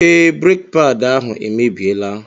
Ee, breki paadi ahụ emebiela.